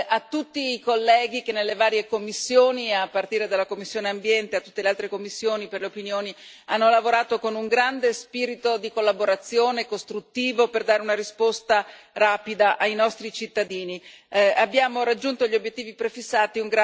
a tutti i colleghi che nelle varie commissioni, a partire dalla commissione ambiente e a tutte le altre commissioni per le opinioni, hanno lavorato con un grande spirito di collaborazione costruttivo per dare una risposta rapida ai nostri cittadini e abbiamo raggiunto gli obiettivi prefissati.